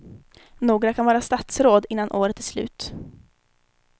Några kan vara statsråd innan året är slut.